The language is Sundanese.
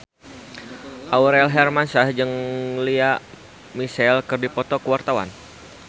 Aurel Hermansyah jeung Lea Michele keur dipoto ku wartawan